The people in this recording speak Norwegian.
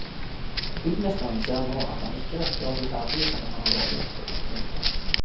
Byggmesteren ser nå at han ikke rekker å bli ferdig som han har lovet. punktum